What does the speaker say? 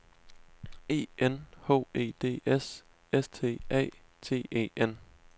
E N H E D S S T A T E N